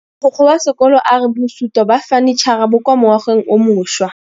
Mogokgo wa sekolo a re bosutô ba fanitšhara bo kwa moagong o mošwa.